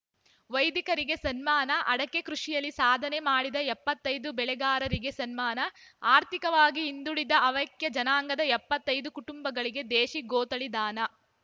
ವೈದಿಕರಿಗೆ ಸನ್ಮಾನ ಅಡಕೆ ಕೃಷಿಯಲ್ಲಿ ಸಾಧನೆ ಮಾಡಿದ ಎಪ್ಪತ್ತೈದು ಬೆಳೆಗಾರರಿಗೆ ಸನ್ಮಾನ ಆರ್ಥಿಕವಾಗಿ ಹಿಂದುಳಿದ ಹವ್ಯಕ ಜನಾಂಗದ ಎಪ್ಪತ್ತೈದು ಕುಟುಂಬಗಳಿಗೆ ದೇಶಿ ಗೋತಳಿ ದಾನ